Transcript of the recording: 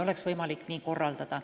Oleks võimalik seda ka nii korraldada.